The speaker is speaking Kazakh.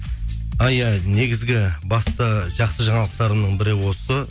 а иә негізгі басты жақсы жаңалықтарымның бірі осы